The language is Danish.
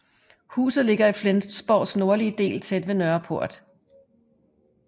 Huset ligger i Flensborgs nordlige del tæt ved Nørreport